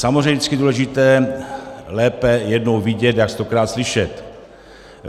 Samozřejmě je vždycky důležité lépe jednou vidět jak stokrát slyšet.